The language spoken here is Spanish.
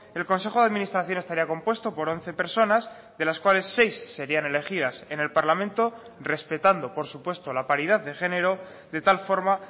el consejo de administración estaría compuesto por once personas de las cuales seis serían elegidas en el parlamento respetando por supuesto la paridad de género de tal forma